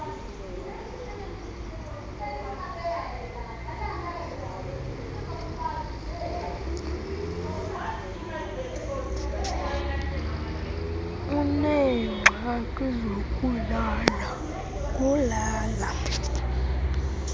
uneengxaki zokulala ulala